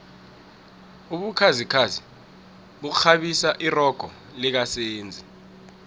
ubukhazikhazi bukghabisa irogo lika senzi